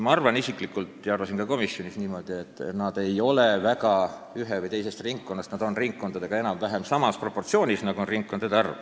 Ma arvan isiklikult ja arvasin ka komisjonis niimoodi, et nad ei ole suuresti ühes või teises ringkonnas, nad on valimisringkondade vahel jaotunud enam-vähem samas proportsioonis, nagu on ringkondade arv.